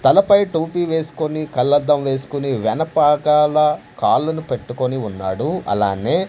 తలపై టోపీ వేస్కొని కళ్లద్దం వేస్కొని వెనపాకాల కాళ్ళని పెట్టుకుని ఉన్నాడు అలానే--